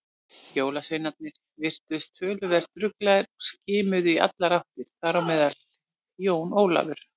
Jólasveinarnir virtust töluvert ruglaðir og skimuðu í allar áttir, þar á meðal Jón Ólafur.